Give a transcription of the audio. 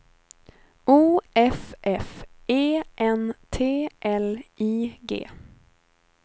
O F F E N T L I G